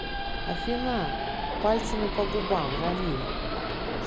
афина пальцами по губам рамиль